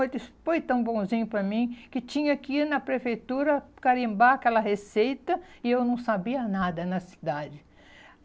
Ele disse, foi tão bonzinho para mim que tinha que ir na prefeitura carimbar aquela receita e eu não sabia nada na cidade.